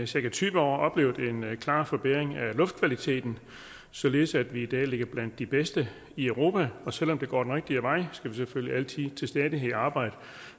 cirka tyve år oplevet en klar forbedring af luftkvaliteten således at vi i dag ligger blandt de bedste i europa og selv om det går den rigtige vej skal vi selvfølgelig til stadighed arbejde